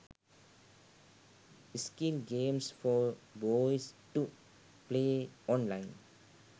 skill games for boys to play online